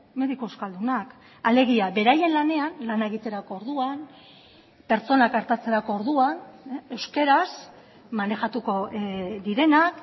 mediku euskaldunak alegia beraien lanean lana egiterako orduan pertsonak artatzerako orduan euskaraz manejatuko direnak